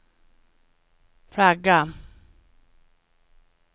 flagga